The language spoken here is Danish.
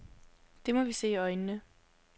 Det må vi se i øjnene.